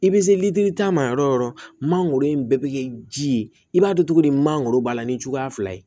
I bɛ se litiri ta ma yɔrɔ o yɔrɔ mangoro in bɛɛ bɛ kɛ ji ye i b'a dɔn cogo di mangoro b'a la ni cogoya fila ye